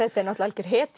er náttúrulega algjör